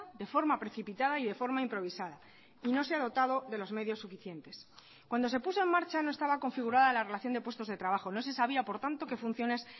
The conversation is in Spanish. de forma precipitada y de forma improvisada y no se ha dotado de los medios suficientes cuando se puso en marcha no estaba configurada la relación de puestos de trabajo no se sabía por tanto qué funciones